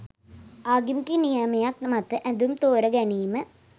ආගමික නියමයක් මත ඇඳුම් තෝරා ගැනීම